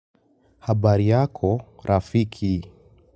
Habari yako rafiki.